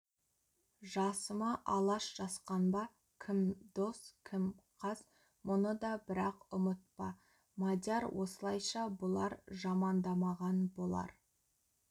жасыма алаш жасқанба кім дос кім қас мұны да бірақ ұмытпа мадияр осылайша бұлар жамандамаған бұлар